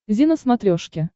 зи на смотрешке